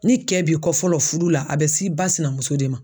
Ni cɛ b'i kɔ fɔlɔ furu la ,a be se ba sinamuso de ma.